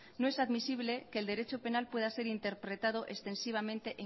no es admisible que el derecho penal pueda ser interpretado extensivamente